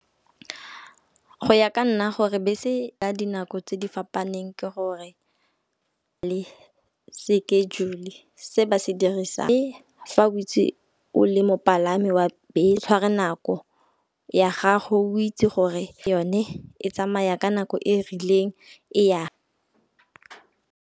Go ya ka nna gore bese ka dinako tse di fapaneng ke gore le schedule-e se ba se dirisang. Le fa o itsi o le mopalami wa . Tshwara nako ya gago o itse gore yone e tsamaya ka nako e e rileng e yang.